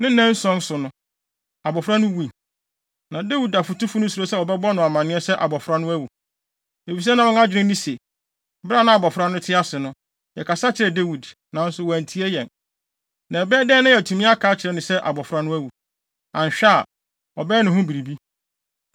Ne nnanson so, abofra no wui. Na Dawid afotufo no suro sɛ wɔbɛbɔ no amanneɛ sɛ abofra no awu, efisɛ na wɔn adwene ne se, “Bere a na abofra no te ase no, yɛkasa kyerɛɛ Dawid, nanso wantie yɛn. Na ɛbɛyɛ dɛn na yɛatumi aka akyerɛ no se abofra no awu? Anhwɛ a, ɔbɛyɛ ne ho biribi.”